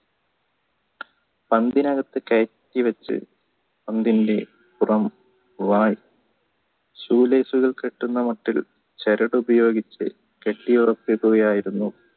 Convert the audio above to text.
പന്തിനകത്തു കയറ്റി വച്ച് പന്തിന്ടെ പുറം വായു ശൂലേജുകൾ കെട്ടുന്ന മറ്റൊരു ചരടുപയോഗിച്ചു കെട്ടിയുറപ്പിക്കുകയായിരുന്നു